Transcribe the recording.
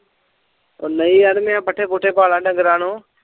ਉਹ ਨਹੀਂ ਯਾਰ ਮੈਂ ਪੱਠੇ ਪੁੱਠੇ ਪਾ ਲੈ ਡੰਗਰਾਂ ਨੂੰ